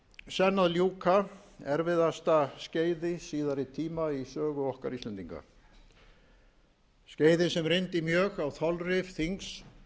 senn að ljúka erfiðasta skeiði síðari tíma í sögu okkar íslendinga skeiði sem reyndi mjög á þolrif þings